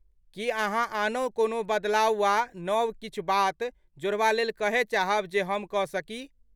की अहाँ आनहु कोनो बदलाव वा नब किछु बात जोड़बा लेल कहय चाहब जे हम कऽ सकी?